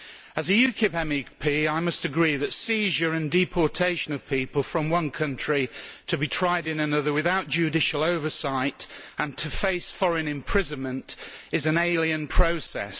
As a UKIP MEP, I must agree that seizure and deportation of people from one country to be tried in another, without judicial oversight, and to face foreign imprisonment, is an alien process.